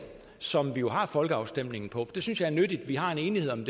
som vi har folkeafstemningen på det synes jeg er nyttigt at vi har en enighed om